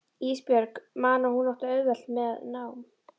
Ísbjörg man að hún átti auðvelt með nám.